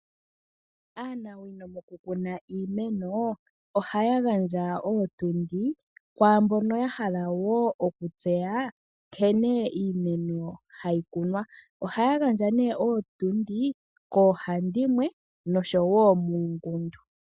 Aanawino moku kuna iimeno ohaa gandja ootundi kwaamboka ya hala okutseya nkene iimeno hayi kunwa. Ohaa gandja nee ootundi koo handimwe nosho woo muungundu.